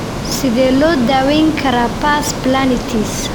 Sidee loo daweyn karaa pars planitis?